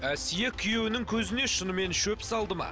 әсия күйеуінің көзіне шынымен шөп салды ма